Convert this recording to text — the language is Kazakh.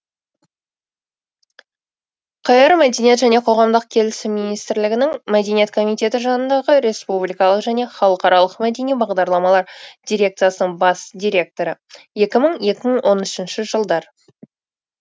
қр мәдениет және қоғамдық келісім министрлігінің мәдениет комитеті жанындағы республикалық және халықаралық мәдени бағдарламалар дирекциясының бас директоры